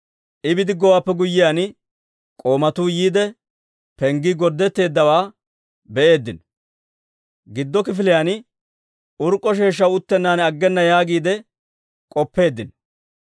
I bidiggowaappe guyyiyaan, k'oomatuu yiide, penggii gorddetteeddawaa be'eeddino; giddo kifiliyaan urk'k'a sheeshshaw uttennan aggena yaagiide k'oppeeddino.